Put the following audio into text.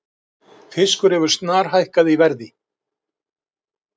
Fiskur hefur snarhækkað í verði